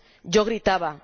Yo gritaba.